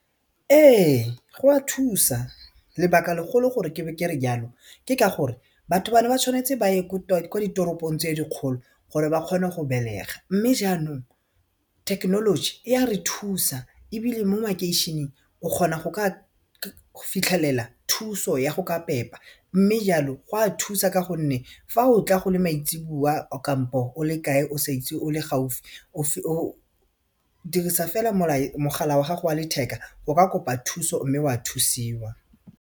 Ee gwa thusa lebaka legolo gore ke bo kere jalo ke ka gore batho ba ne ba tshwanetse ba ye ko ditoropong tse dikgolo gore ba kgone go belega mme jaanong thekenoloji e a re thusa ebile mo makeišeneng o kgona go ka fitlhelela thuso ya go ka pepa mme jalo go a thusa ka gonne fa o tla go le maitsebowa kampo o le kae o sa itse o le gaufi o dirisa fela mogala wa gago wa letheka o ka kopa thuso mme wa thusiwa.